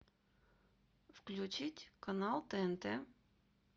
включить канал тнт